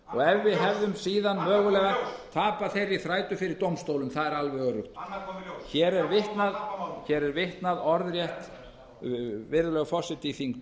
og ef við hefðum síðan mögulega tapað þeirri þrætu fyrir dómstólum það er alveg öruggt annað kom í ljós hér er vitnað orðrétt virðulegi forseti í